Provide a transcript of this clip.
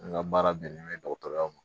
N ka baara bɛnnen bɛ dɔgɔtɔrɔya ma